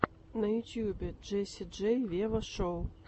на ютьюбе джесси джей вево шоу